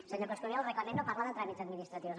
senyor coscubiela el reglament no parla de tràmits administratius